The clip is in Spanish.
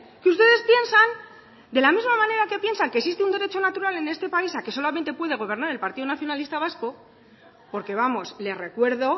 que ustedes piensan de la misma manera que piensan que existe un derecho natural en este país a que solamente puede gobernar el partido nacionalista vasco porque vamos le recuerdo